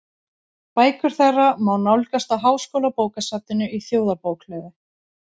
Bækur þeirra má nálgast á Háskólabókasafninu í Þjóðarbókhlöðu.